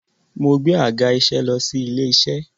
Mo gbé àga-iṣẹ́ lọ sí ilé-iṣẹ́.